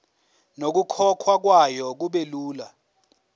nokukhokhwa kwayo kubelula